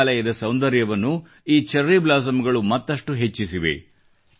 ಮೇಘಾಲಯದ ಸೌಂದರ್ಯವನ್ನು ಈ ಚೆರ್ರಿ ಬ್ಲಾಸಮ್ ಗಳು ಮತ್ತಷ್ಟು ಹೆಚ್ಚಿಸಿವೆ